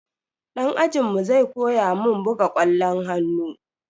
Dan ajinmu zai koya mun buga kwallon hannu.